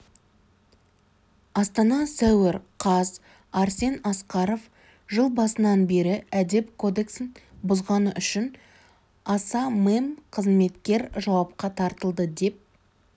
астана сәуір қаз арсен асқаров жыл басынан бері әдеп кодексін бұзғаныүшін аса мемқызметкер жауапқа тартылды деп